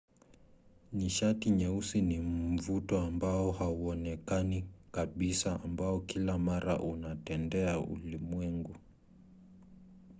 nishati nyeusi ni mvuto ambao hauonekani kabisa ambao kila mara unatendea ulimwengu